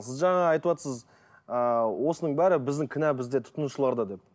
сіз жаңа айтватсыз ыыы осының бәрі біздің кінә бізде тұтынушыларда деп